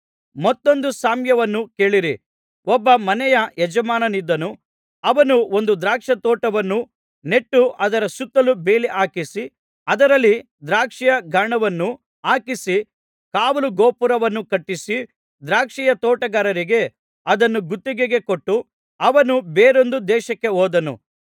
ಮತ್ತೊಂದು ಸಾಮ್ಯವನ್ನು ಕೇಳಿರಿ ಒಬ್ಬ ಮನೆಯ ಯಜಮಾನನಿದ್ದನು ಅವನು ಒಂದು ದ್ರಾಕ್ಷಾತೋಟವನ್ನು ನೆಟ್ಟು ಅದರ ಸುತ್ತಲೂ ಬೇಲಿಹಾಕಿಸಿ ಅದರಲ್ಲಿ ದ್ರಾಕ್ಷಿಯ ಗಾಣವನ್ನು ಹಾಕಿಸಿ ಕಾವಲು ಗೋಪುರವನ್ನು ಕಟ್ಟಿಸಿ ದ್ರಾಕ್ಷಿಯ ತೋಟಗಾರರಿಗೆ ಅದನ್ನು ಗುತ್ತಿಗೆಗೆ ಕೊಟ್ಟು ಅವನು ಬೇರೊಂದು ದೇಶಕ್ಕೆ ಹೋದನು